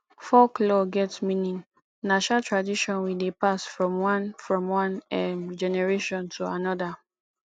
folklore get meaning na um tradition we dey pass from one from one um generation to another